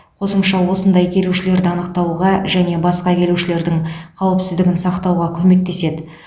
қосымша осындай келушілерді анықтауға және басқа келушілердің қауіпсіздігін сақтауға көмектеседі